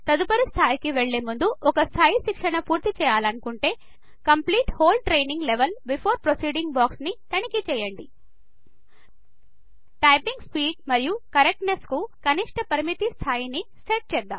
తదుపరి స్థాయికి వెళ్ళే ముందు ఒక స్థాయి శిక్షణ పూర్తి చేయాలనుకుంటే complete whole training level before proceeding boxని తనిఖీ చేయండి టైపింగ్ స్పీడ్ మరియు కరెక్ట్నెస్ కు కనిష్ట పరిమితి ని సెట్ చేద్దాం